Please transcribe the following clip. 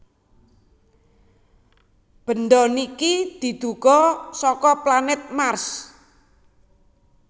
benda niki diduga saka planet Mars